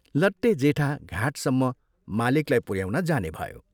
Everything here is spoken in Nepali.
लट्टे जेठा घाटसम्म मालिकलाई पुऱ्याउन जाने भयो।